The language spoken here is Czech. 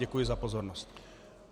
Děkuji za pozornost.